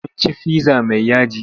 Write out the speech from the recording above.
Sun ci fizza mai yaji.